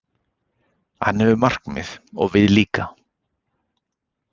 Hann hefur markmið, og við líka.